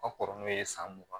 Ka kɔrɔ n'o ye san mugan